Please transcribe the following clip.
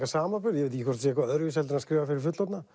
samanburð ég veit ekki hvort það sé eitthvað öðruvísi en að skrifa fyrir fullorðna